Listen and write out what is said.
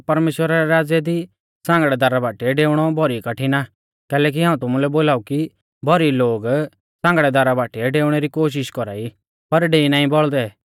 परमेश्‍वरा रै राज़्य दी सांगड़ै दारा बाटीऐ डेउणौ भौरी कठिण आ कैलैकि हाऊं तुमुलै बोलाऊ कि भौरी लोग सांगड़ै दारा बाटीऐ डेऊणै री कोशिष कौरा ई पर डेई नाईं बौल़दै